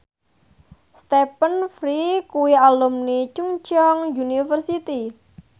Stephen Fry kuwi alumni Chungceong University